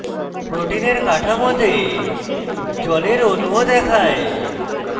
protein কাঠামোতে জলের অণুও দেখায়